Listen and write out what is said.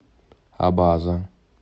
абаза